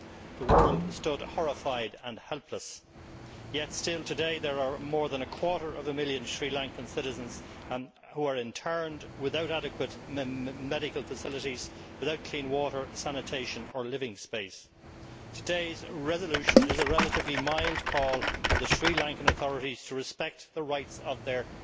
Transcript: The world stood horrified and helpless, yet still today, there are more than a quarter of a million Sri Lankan citizens who are interned without adequate medical facilities, without clean water, sanitation or living space. Today's resolution is a relatively mild call on the Sri Lankan authorities to respect the rights of their